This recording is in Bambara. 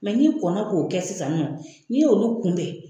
n'i kɔnna k'o kɛ sisan nɔ, n'i ye olu kunbɛ